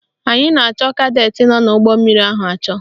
Anyị na-achọ kadetị nọ n'ụgbọmmiri ahụ achọ